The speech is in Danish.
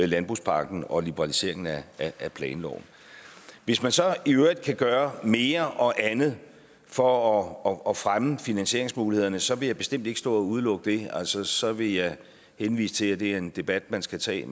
landbrugspakken og liberaliseringen af af planloven hvis man så i øvrigt kan gøre mere og andet for at fremme finansieringsmulighederne så vil jeg bestemt ikke stå og udelukke det så så vil jeg henvise til at det er en debat man skal tage